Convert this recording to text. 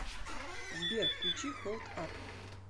сбер включи холд ап